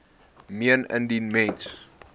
meen indien mens